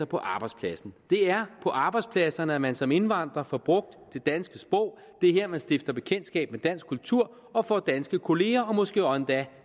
på arbejdspladsen det er på arbejdspladserne at man som indvandrer får brugt det danske sprog og det er her man stifter bekendtskab med dansk kultur får danske kollegaer og måske endda